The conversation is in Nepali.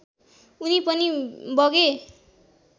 उनी पनि बगे